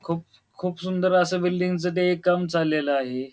खूप खूप सुंदर अस बिल्डिंग च ते एक काम चालेल आहे.